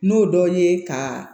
N'o dɔ ye ka